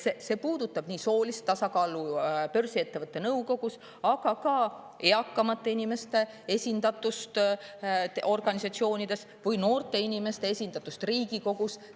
See puudutab nii soolist tasakaalu börsiettevõtete nõukogudes, aga ka eakamate inimeste esindatust organisatsioonides või noorte inimeste esindatust Riigikogus.